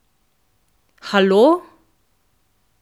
Halo!